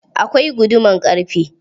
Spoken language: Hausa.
Akwai guduman ƙarfe.